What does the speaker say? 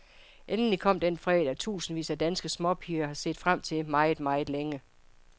Endelig kom den fredag, tusindvis af danske småpiger har set frem til meget, meget længe.